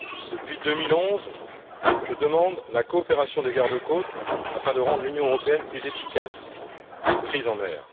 Depuis 2011, je demande la coopération des garde côtes afin de rendre l'Union européenne plus efficace face aux crises en mer.